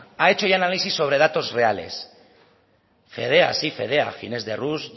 ha hecho ya el análisis sobre datos reales fedea sí fedea ginés de rús